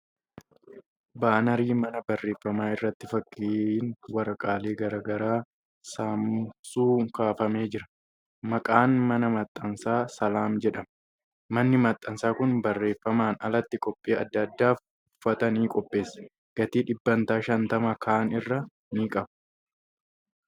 Baanarii mana barreeffamaa irratti fakkiin waraqaalee garagaraa saamsu kaafamee jira. Maqaan mana maxxansaa ' Salaam ' jedhama. Manni maxxansaa kun barreeffamaan alatti qophii adda addaaf uffata ni qopheessa. Gatii dhibbeentaa 50% kaan irra ni qaba.